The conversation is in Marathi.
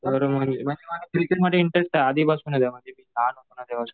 क्रिकेटमध्ये इंटरेस्ट आधीपासूनच आहे माझं मी लहान होतो तेंव्हापासून